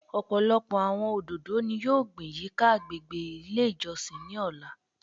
Ọpọlọpọ awọn ododo ni yoo gbin yika agbegbe ile ijọsin ni ọla